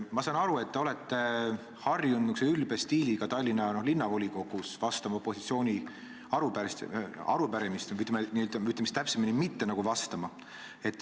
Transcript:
Ma saan aru, et te olete Tallinna Linnavolikogus harjunud opositsiooni arupärimistele niisuguse ülbe stiiliga vastama või, ütleme siis täpsemini, mitte vastama.